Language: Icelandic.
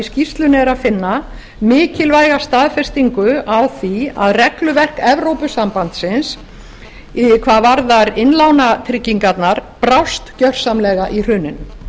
skýrslunni er að finna mikilvæga staðfestingu á því að regluverk evrópusambandsins hvað varðar innlánatryggingarnar brást gersamlega í hruninu